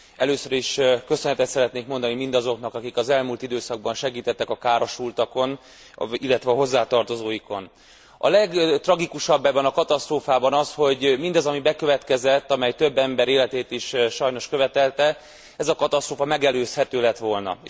Először is köszönetet szeretnék mondani mindazoknak, akik az elmúlt időszakban segítettek a károsultakon, illetve a hozzátartozóikon. A legtragikusabb ebben a katasztrófában az, hogy mindaz, ami bekövetkezett, amely több ember életét is sajnos követelte, ez a katasztrófa megelőzhető lett volna.